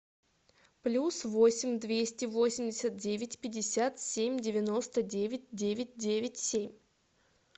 плюс восемь двести восемьдесят девять пятьдесят семь девяносто девять девять девять семь